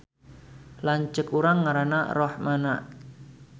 Lanceuk urang ngaranna Rohmana